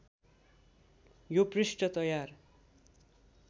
यो पृष्ठ तयार